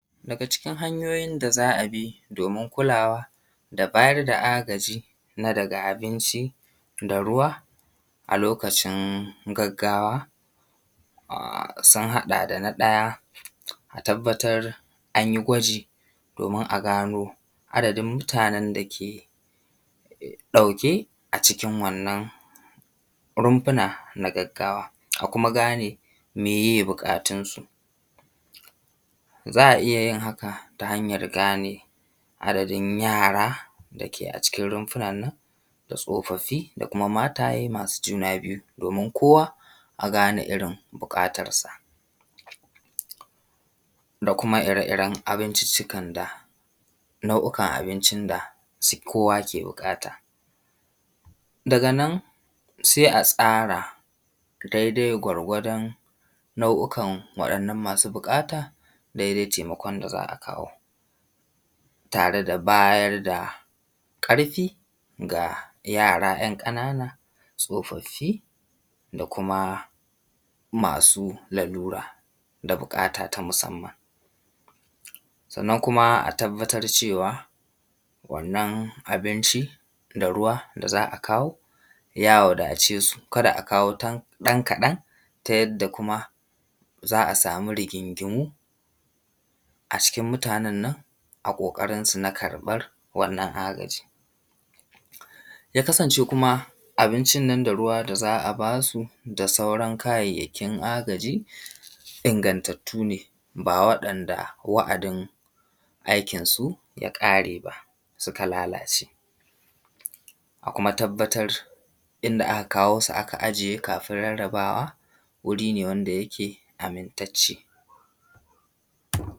Daga cikin hanyoyin da za a bi domin kulawa da bayar da agaji na daga abinci da ruwa a lokacin gaggawa, sun haɗa da na ɗaya, a tabbatar an yi gwaji domin a gano adadin mutanen dake ɗauke a cikin wannan runfuna na gaggawa a kuma gane miye buƙatunsu. Za a iyayin haka ta hanyar gane adadin yara dake a cikin runfunan nan da tsofaffi da kuma mataye masu juna biyu domin kowa a gane irin bukatar sa, da kuma ire iren abinciccika da nau’ikan abincin da kowa ke bukata. Daga nan sai a tsara dai dai gwargwadon nau’ikan wa'innan masu buƙata, dai dai taimakon da za a kawo, tare da bayar da ƙarfi ga yara ‘yan ƙanana tsofaffi, da kuma masu lalura da bukata ta musamman. Sannan kuma a tabbatar cewa wannan abinci da ruwa da za a kawo ya wadace su kada a kawo ɗan kaɗan ta yadda kuma za a samu rigingimu a cikin mutanen nan a ƙoƙarinsu na karɓan wannan agaji. Ya kasance kuma abincin nan da ruwa da za a ba su da sauran kayayyakin na agaji ingattattu ne ba wadanda wa’adin aikinsu yakare ba suka lalace. A kuma tabbatar inda aka kawo su aka ajiye kafin rarrabawa wuri ne wanda yake amintacce.